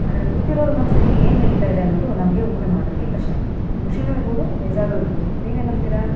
ಅದರ ಕೂತಿರುವ ವಾರ ಮನಸಿನಲ್ಲಿ ಏನ್ ನಡೀತಾ ಇದೆ ಅನ್ನೋದು ನಮಗೆ ಊಹೆ ಮಾಡುವುದು ಕಷ್ಟ ಖುಷಿನೂ ಇರಬಹುದು ಬೇಜಾರು ಇರಬಹುದು ನೀವೇನ್ ಅಂತೀರಾ-